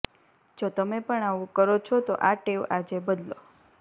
જો તમે પણ આવું કરો છો તો આ ટેવ આજે બદલો